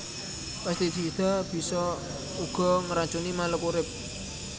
Pestisida bisa uga ngracuni makhluk urip